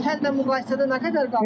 Keçən ilə müqayisədə nə qədər qalxıb?